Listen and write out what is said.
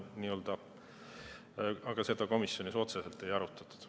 Aga seda komisjonis otseselt ei arutatud.